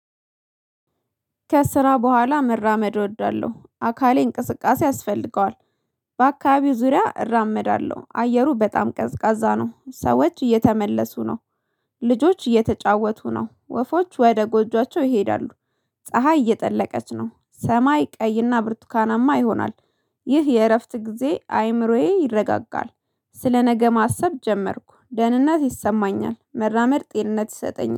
ከስራ በኋላ መራመድ እወዳለሁ አካሌ እንቅስቃሴ ያስፈልገዋል። በአካባቢው ዙሪያ እራመዳለሁ አየሩ በጣም ቀዝቃዛ ነው ሰዎች እየተመለሱ ነው። ልጆች እየተጫወቱ ነው። ወፎች ወደ ጎጆአቸው ይሄዳሉ። ፀሀይ እየጠለቀች ነው ሰማይ ቀይና ብርቱካናማ ይሆናል። ይህ የእረፍት ጊዜ አይምሮዬ ይረጋጋል። ስለነገ ማሰብ ጀመርኩ ደህንነት ይሰማኛል። መራመድ ጤንነት ይሰጠኛል